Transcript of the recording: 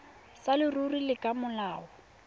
sa leruri le ka molao